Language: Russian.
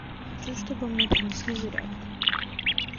хочу чтобы мне принесли зарядку